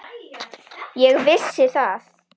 Ég vissi það.